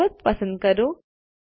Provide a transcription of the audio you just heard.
પર્વત પસંદ કરો